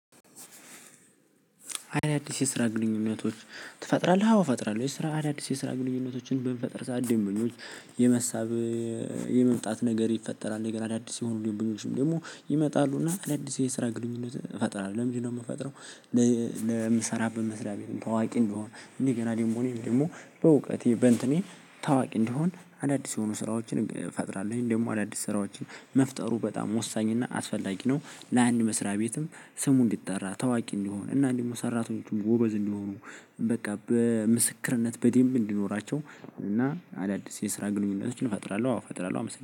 አዳዲስ የስራ ግንኙነቶች ትፈጥራለህ? አዎ እፈጥራለሁ የስራ አዳዲስ የስራ ግንኙነቶችን ብምፈጥር ሰዓት ደንበኞች የመሳብ የመምጣት ነገር ይፈጠራል። እንደገና አዳዲስ የሆኑ ደንበኞችም ደግሞ ይመጣሉና አዳዲስ የስራ ግንኙነት እፈጥራለሁ። ለምንድነው የምፈጥረው? ለምሰራበት መስሪያ ቤትም ታዋቂ እንድሆን እንዴ ገና ደግሞ እኔም ደግሞ በእውቀቴ በእንትኔ ታዋቂ እንዲሆን አዳዲስ የሆኑ ስራዎችን ፈጥራለሁኝ። ደግሞ አዳዲስ ስራዎችን መፍጠሩ በጣም ወሳኝ እና አስፈላጊ ነው። ለአንድ መስሪያ ቤትም ስሙ እንዲጠራ ታዋቂ እንዲሆን እና እንዲሁም ሰራተኞቹም ጎበዝ እንዲሆኑ በቃ በምስክርነት በደንብ እንዲኖራቸው እና አዳዲስ የስራ ግንኙነቶችን እፈጥራለሁ። አው እፈጥራለሁ አመሰግናለሁ